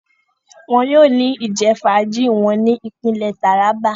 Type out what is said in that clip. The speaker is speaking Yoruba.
Awọn yóò ni ijẹfaaji wọn ni ipinle Taraba